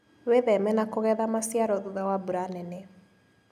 Wĩtheme na kũgetha maciaro thutha wa mbura nene.